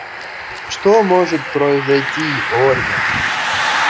что может произойти ольга